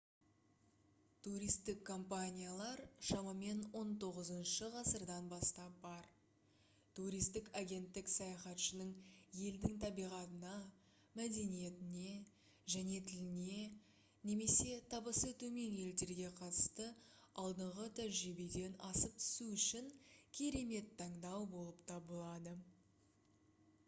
туристік компаниялар шамамен 19-шы ғасырдан бастап бар туристік агенттік саяхатшының елдің табиғатына мәдениетіне және тіліне немесе табысы төмен елдерге қатысты алдыңғы тәжірибеден асып түсу үшін керемет таңдау болып табылады